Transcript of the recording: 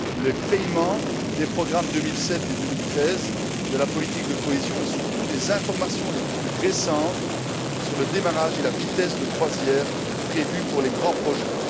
les paiements des programmes 2007 et 2013 de la politique de cohésion et, surtout, des informations les plus récentes sur le démarrage et la vitesse de croisière prévus pour les grands projets.